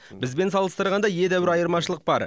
бізбен салыстырғанда едәуір айырмашылық бар